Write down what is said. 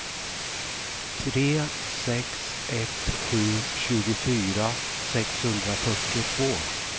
tre sex ett sju tjugofyra sexhundrafyrtiotvå